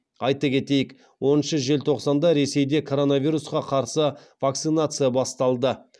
айта кетейік оныншы желтоқсанда ресейде коронавирусқа қарсы вакцинация басталды